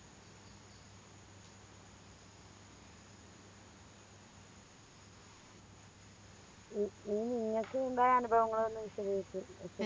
E നി നിങ്ങക്ക് എന്താ അനുഭവങ്ങള് വല്ലോം വിശദീകരിച്ച്